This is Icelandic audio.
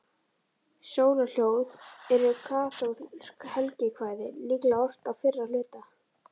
Sólarljóð eru kaþólskt helgikvæði, líklega ort á fyrra hluta